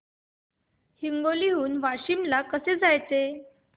हिंगोली हून वाशीम ला कसे जायचे